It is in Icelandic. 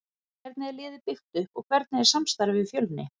Hvernig er liðið byggt upp og hvernig er samstarfið við Fjölni?